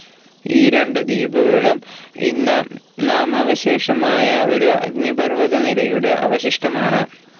ഈ രണ്ടു ദ്വീപുകളും ഇന്ന് നാമാവശേഷമായ ഒരു അഗ്നിപർ‌വ്വത നിരയുടെ അവശിഷ്ടം ആണ്.